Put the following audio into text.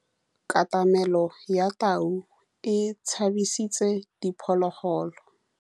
Katamêlô ya tau e tshabisitse diphôlôgôlô.